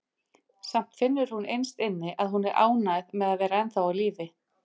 Samt finnur hún innst inni að hún er ánægð með að vera ennþá á lífi.